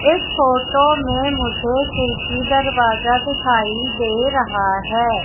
इस फोटो में मुझे खिड़की दरवाजा दिखाई दे रहा हैं।